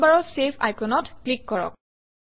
টুলবাৰৰ চেভ আইকনত ক্লিক কৰক